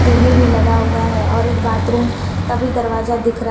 T V भी लगा हुआ है और एक बाथरूम का भी दरवाजा दिख रहा है।